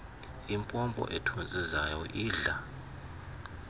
impompo ethontsizayo idla